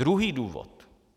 Druhý důvod.